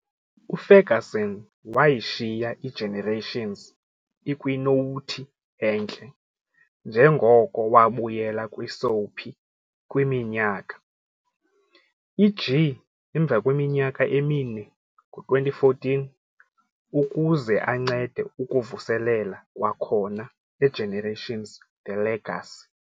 UFerguson wayishiya iGenerations ikwinowuthi entle njengoko wabuyela kwisoapie kwiminyaka "iG"emvakweminyaka emine, ngo-2014, ukuze ancede ukuvuselela kwakhona "eGenerations- The Legacy" .